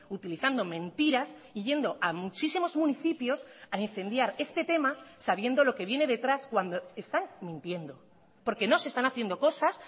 utilizando mentiras y yendo a muchísimos municipios a incendiar este tema sabiendo lo que viene detrás cuando están mintiendo porque no se están haciendo cosas